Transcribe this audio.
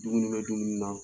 i bɛ na dumuni nan